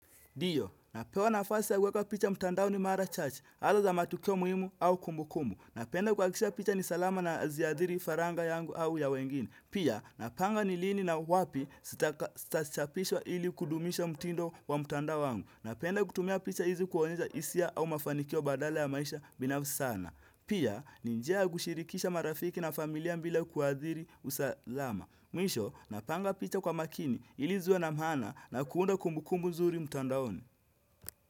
Ndiyo, napewa nafasi ya kuweka picha mtandaoni mara chache, hasa za matukio muhimu au kumbukumbu. Napenda kuhakikisha picha ni salama na haziadhiri faranga yangu au ya wengine. Pia, napanga ni lini na wapi zitachapishwa ili kudumisha mtindo wa mtandao wangu. Napenda kutumia picha hizi kuonyesha hisia au mafanikio badala ya maisha binafsi sana. Pia, ni njia ya kushirikisha marafiki na familia bila kuadhiri usalama. Mwisho, napanga picha kwa makini ili ziwe na maana na kuunda kumbukumu zuri mtandaoni.